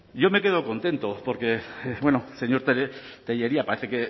yo me quedo contento porque bueno señor tellería parece